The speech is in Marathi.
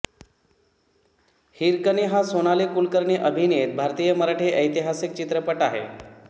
हिरकणी हा सोनाली कुलकर्णी अभिनीत भारतीय मराठी ऐतिहासिक चित्रपट आहे